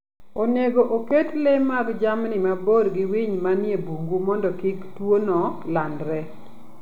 Onego oket le mag jamni mabor gi winy manie bungu mondo kik tuono landre.